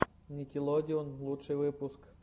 никелодеон лучший выпуск